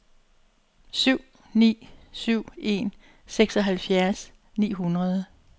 syv ni syv en seksoghalvfjerds ni hundrede